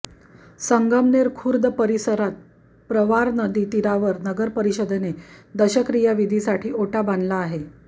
संगमनेर खुर्द परिसरात प्रवरा नदी तीरावर नगरपरिषदेने दशक्रिया विधीसाठी ओटा बांधला आहे